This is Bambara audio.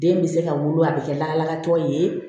Den bɛ se ka wolo a bi kɛ lagatɔ ye